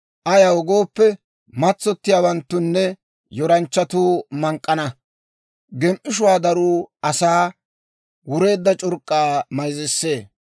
ayaw gooppe, matsottiyaawanttunne yoranchchatuu mank'k'ana; gem"ishshuwaa daruu asaa wureedda c'urk'k'aa mayzzisee.